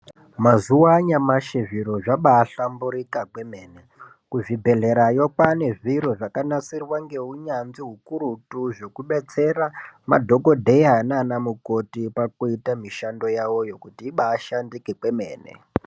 Mazuva anyamashi zviro zvabaahlamburika kwemene, kuzvibhedhlerayo kwaane zviro zvakanasirwa ngeunyanzvi ukurutu zvekudetsera madhogodheya nanamukoti pakuita kuti mishando yawoyo kuti ibaashandike kwemene.